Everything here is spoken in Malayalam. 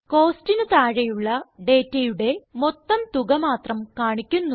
Costsന് താഴെയുള്ള ഡേറ്റയുടെ മൊത്തം തുക മാത്രം കാണിക്കുന്നു